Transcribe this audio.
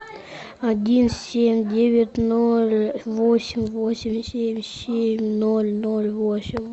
один семь девять ноль восемь восемь семь семь ноль ноль восемь